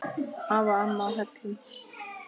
Afi og amma á Hellum.